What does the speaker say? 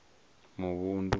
muvhundu